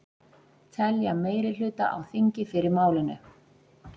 Telja meirihluta á þingi fyrir málinu